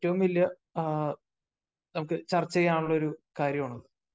ഏറ്റവും വലിയ നമുക്ക് ചർച്ച ചെയ്യാനുള്ള ഒരു കാര്യമാണ്.